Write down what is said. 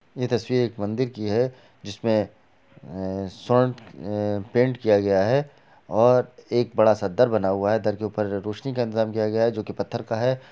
ये तस्वीर एक मंदिर की है जिसमे स्वर्ण पेंट किया गया हैं और एक बड़ा-सा दर बना हुआ हैं दर के ऊपर रोशनी का इंतजाम किया गया हैं जो कि पत्थर का है।